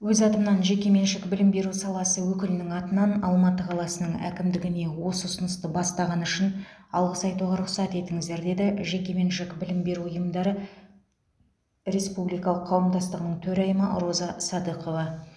өз атымнан жекеменшік білім беру саласы өкілінің атынан алматы қаласының әкімдігіне осы ұсынысты бастағаны үшін алғыс айтуға рұқсат етіңіздер деді жекеменшік білім беру ұйымдары республикалық қауымдастығының төрайымы роза садықова